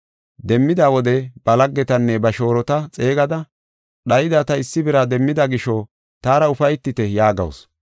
Demmida wode ba laggetanne ba shoorota xeegada ‘Dhayida ta issi bira demmida gisho taara ufaytite’ yaagawusu.